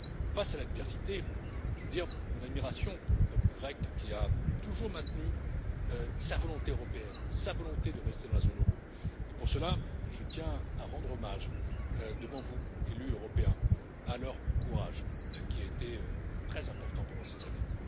Face à l'adversité, je veux dire mon admiration pour le peuple grec qui a toujours maintenu sa volonté européenne, sa volonté de rester dans la zone euro et pour cela, je tiens à rendre hommage devant vous, élus européens, à leur courage qui a été très important pendant ces années.